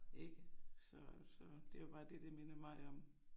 Ikke så så det var bare det det minder mig om